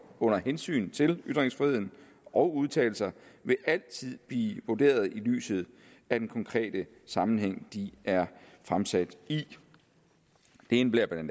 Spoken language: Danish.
under hensyn til ytringsfriheden og udtalelser vil altid blive vurderet i lyset af den konkrete sammenhæng de er fremsat i det indebærer bla